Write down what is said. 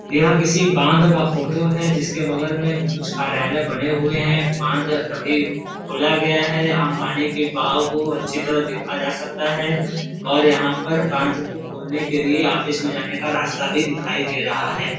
यह किसी बांध का फोटो है | जिसके बगल में कुछ कार्यालय बने हुए हैं | बांध अभी खोला गया है| अम पानी के बहाव को अच्छी तरह देखा जा सकता है| और यहां पर बांध को खोलने के लिए ऑफिस में जाने का रास्ता भी दिखाई दे रहा है|